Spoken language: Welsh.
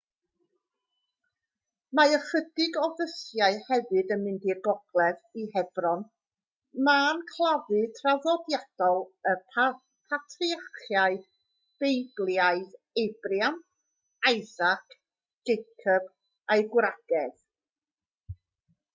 mae ychydig o fysiau hefyd yn mynd i'r gogledd i hebron man claddu traddodiadol y patriarchiaid beiblaidd abraham isaac jacob a'u gwragedd